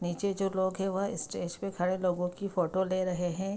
नीचे जो लोग है वह स्टेज पे खड़े लोगो की फोटो ले रहे है।